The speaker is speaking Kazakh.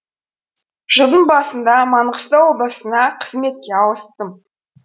жылдың басында маңғыстау облысына қызметке ауыстым